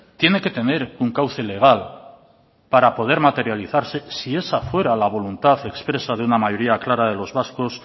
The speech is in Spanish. tiene que tener un cauce legal para poder materializarse si esa fuera la voluntad expresa de una mayoría clara de los vascos